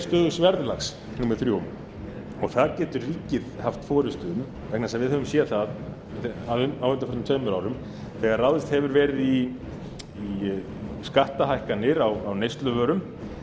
stöðugs verðlags númer þrjú og það getur ríkið haft forustu um vegna þess að við höfum séð það á undanförnum tveimur árum þegar ráðist hefur verið í skattahækkanir á neysluvörum